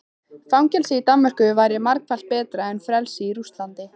Fangelsi í Danmörku væri margfalt betra en frelsi í Rússlandi.